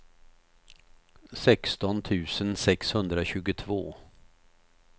sexton tusen sexhundratjugotvå